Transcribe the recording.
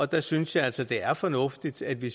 der synes jeg altså det er fornuftigt at vi